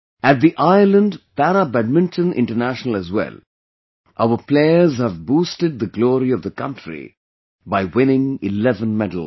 At the Ireland Para Badminton International as well, our players have boosted the glory of the country by winning 11 medals